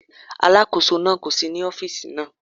Alákóso náà kò sí ní ọ́fíìsì náà.